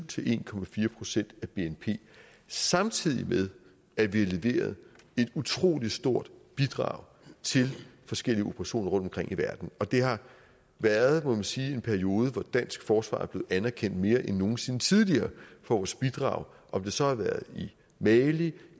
til en procent af bnp samtidig med at vi har leveret et utrolig stort bidrag til forskellige operationer rundtomkring i verden og det har været må man sige en periode hvor dansk forsvar er blevet anerkendt mere end nogen sinde tidligere for vores bidrag om det så har været i mali